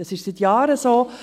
Dies ist seit Jahren so.